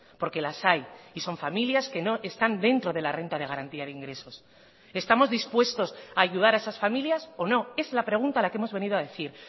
porque las hay y son familias que no están dentro de la renta de garantía de ingresos estamos dispuestos a ayudar a esas familias o no es la pregunta a la que hemos venido a decir